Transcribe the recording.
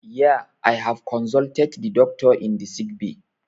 Yee, i have consulted the doctor in the sick bay?